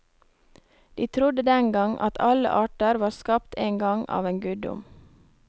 De trodde den gang at alle arter var skapt en gang av en guddom.